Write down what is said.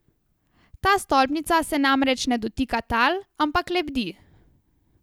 Ta stolpnica se namreč ne dotika tal, ampak lebdi.